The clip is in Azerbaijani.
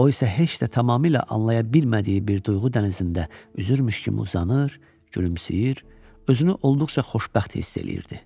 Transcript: O isə heç də tamamilə anlaya bilmədiyi bir duyğu dənizində üzürmüş kimi uzanır, gülümsəyir, özünü olduqca xoşbəxt hiss eləyirdi.